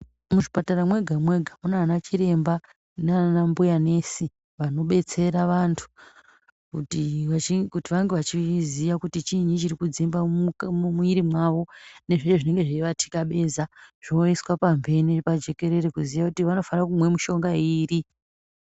Muchipatara mwega mwega munaana chirembanaana mbuya nesi. Vanobetsera vantu kuti vange vachiziua kuti chiinyi chiri kudzimba mumwiri mavo nezvinenge zveivatikabeza zvoiswa pamhene pajikerere kuziya kuti vanofanirwa kumwa mishonga iri.